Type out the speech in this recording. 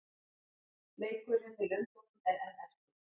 Leikurinn í Lundúnum er enn eftir.